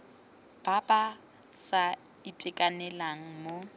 ba ba sa itekanelang mo